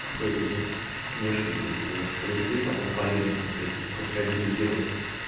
фэри блять смешивать ёпта в шприце потом по вене пускать типа крокодила делать